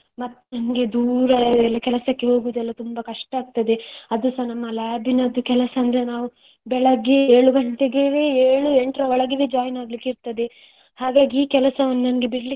ಮತ್ತೆ ನನ್ಗೆ ದೂರ ಕೆಲಸಕ್ಕೆ ಹೋಗುದೆಲ್ಲ ತುಂಬಾ ಕಷ್ಟ ಆಗ್ತದೆ. ಅದುಸ ನನ್ನ labನದು ಕೆಲಸ ಅಂದ್ರೆ ನಾವು ಬೆಳಗ್ಗೆ ಏಳು ಗಂಟೆಗೆವೆಏಳು ಎಂಟರ ಒಳಗೆವೆjoin ಆಗ್ಲಿಕ್ಕೆ ಇರ್ತದೆ ಹಾಗಾಗಿ ಈ ಕೆಲಸವನ್ನು ನನ್ಗೆ ಬಿಡಲಿಕ್ಕೆ.